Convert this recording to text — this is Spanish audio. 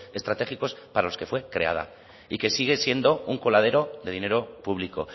estratégicos para los que fue creada y que sigue siendo un coladero de dinero público